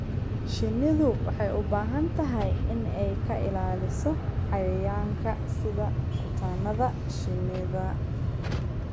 Shinnidu waxay u baahan tahay in ay ka ilaaliso cayayaanka sida kutaannada shinnida.